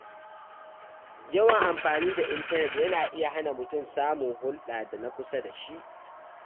Yawan amfani da intanet na iya hana mutum samun hulɗa da na kusa da shi.